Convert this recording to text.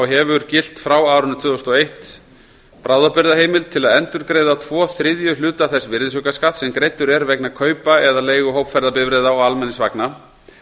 hefur gilt frá árinu tvö þúsund og eitt bráðabirgðaheimild til að endurgreiða tvo þriðju hluta þess virðisaukaskatts sem greiddur er vegna kaupa eða leigu hópferðabifreiða og almenningsvagna